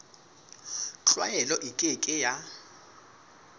tlwaelo e ke ke ya